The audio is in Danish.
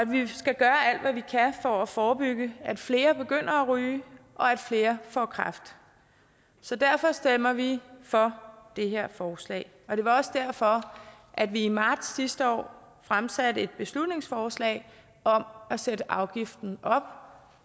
vi kan for at forebygge at flere begynder at ryge og at flere får kræft så derfor stemmer vi for det her forslag og det var også derfor at vi i marts sidste år fremsatte et beslutningsforslag om at sætte afgiften op